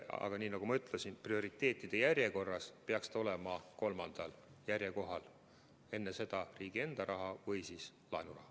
Aga nagu ma ütlesin, prioriteetide järjekorras peaks see olema kolmandal kohal, enne seda on riigi enda raha või laenuraha.